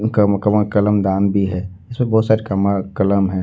कम कमा कलम दान भी है इसमें बहुत सारी कमा कलम है।